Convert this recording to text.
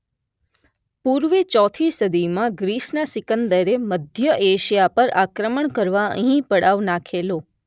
પૂર્વે ચૌથી સદીમાં ગ્રીસના સિકંદરે મધ્ય એશિયા પર આક્રમણ કરવા અહીં પડાવ નાખેલો.